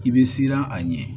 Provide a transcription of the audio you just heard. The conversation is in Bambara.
I bɛ siran a ɲɛ